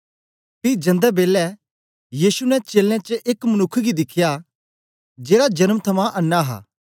पी जन्दे बेलै यीशु ने चेलें एक मनुक्ख गी दिख्या जेड़ा जन्म थमां अन्नां हां